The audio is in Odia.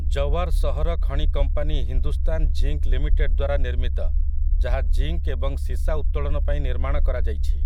ଜୱାର୍ ସହର ଖଣି କମ୍ପାନୀ ହିନ୍ଦୁସ୍ତାନ୍ ଜିଙ୍କ୍ ଲିମିଟେଡ଼୍ ଦ୍ୱାରା ନିର୍ମିତ, ଯାହା ଜିଙ୍କ୍ ଏବଂ ସୀସା ଉତ୍ତୋଳନ ପାଇଁ ନିର୍ମାଣ କରାଯାଇଛି ।